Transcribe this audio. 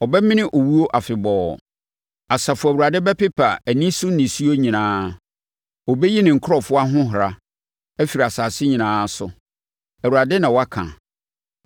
Ɔbɛmene owuo afebɔɔ. Asafo Awurade bɛpepa aniso nisuo nyinaa. Ɔbɛyi ne nkurɔfoɔ ahohora, afiri nsase nyinaa so. Awurade na waka.